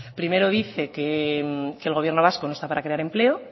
primero dice que el gobierno vasco no está para crear empleo